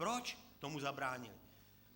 Proč tomu zabránilo?